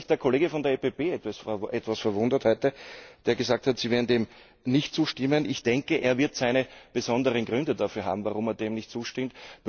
Allerdings hat mich heute der Kollege von der EVP etwas verwundert, der gesagt hat, sie werden dem nicht zustimmen. Ich denke, er wird seine besonderen Gründe dafür haben, warum er dem nicht zustimmt.